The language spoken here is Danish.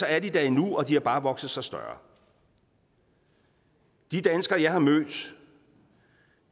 er de der endnu og de har bare vokset sig større de danskere jeg har mødt